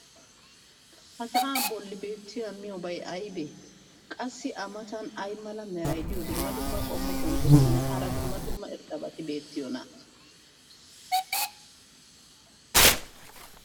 ha sa"aa boli beetiya miyoobay aybee? qassi a matan ay mala meray diyo dumma dumma qommo bonccotinne hara dumma dumma irxxabati beetiyoonaa?